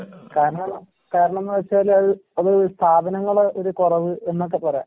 കാരണം കാരണംന്ന് വെച്ചാലത് അത് സ്ഥാപങ്ങളെ ഒര് കൊറവ് എന്നൊക്കെ പറയാം.